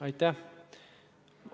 Aitäh!